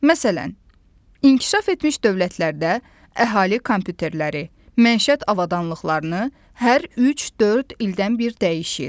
Məsələn, inkişaf etmiş dövlətlərdə əhali kompüterləri, məişət avadanlıqlarını hər üç-dörd ildən bir dəyişir.